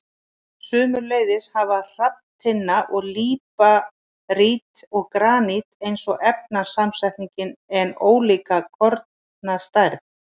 Sömuleiðis hafa hrafntinna, líparít og granít eins efnasamsetning en ólíka kornastærð.